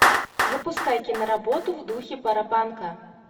запускай киноработу в духе паропанка